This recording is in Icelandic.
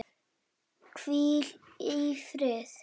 Hvíl í friði!